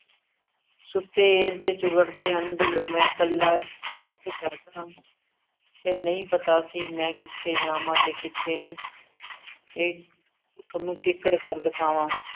ਸੁੱਤੇ ਇਸ ਦੇ ਚੁੱਗੜ ਦੇ ਅੰਦਰ ਮੈ ਕੱਲਾ ਤੇ ਨਹੀਂ ਪਤਾ ਸੀ। ਮੈ ਕਿੱਥੇ ਜਾਵਾ ਤੇ ਕਿੱਥੇ ਨੂੰ ਇਹ ਥੋਨੂੰ ਕਿਕਣ ਕਰ ਦਿਖਾਵਾ।